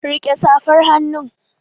Rike safar hannu.